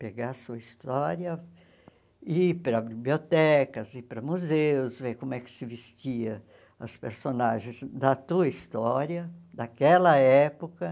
Pegar a sua história, ir para bibliotecas, ir para museus, ver como é que se vestiam os personagens da tua história, daquela época.